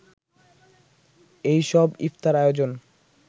এই সব ইফতার আয়োজন